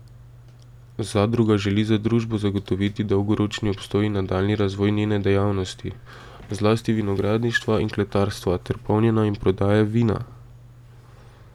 Zadruga želi za družbo zagotoviti dolgoročni obstoj in nadaljnji razvoj njene dejavnosti, zlasti vinogradništva in kletarstva ter polnjenja in prodaje vina.